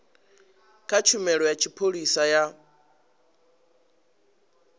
kha tshumelo ya tshipholisa ya